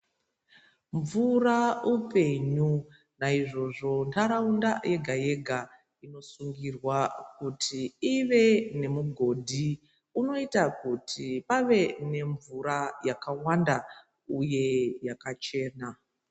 Mvura upenyu naizvozvo ntaraunda yega yega inosungirwa kuti ive nemugodhi unoita kuti pave nemvura yakawanda uye yakachena.